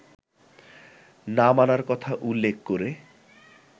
না মানার কথা উল্লেখ করে